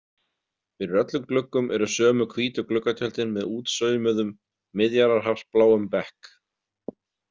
Fyrir öllum gluggum eru sömu hvítu gluggatjöldin með útsaumuðum, Miðjarðarhafsbláum bekk.